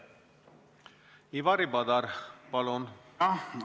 Ivari Padar, palun!